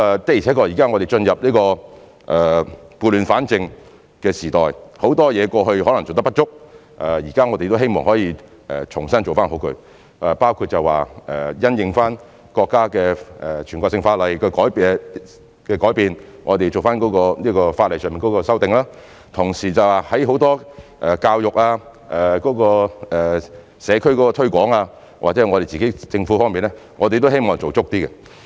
的確我們現在進入撥亂反正的時代，很多方面在過去可能做得不足，我們現在希望可以重新做好，包括因應國家的全國性法律的改變，我們在法例上作出修訂，同時在眾多如教育、社區推廣或政府方面，我們也希望做足一點。